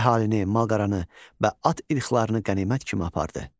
Əhalini, mal-qaranı və at ilxılarını qənimət kimi apardı.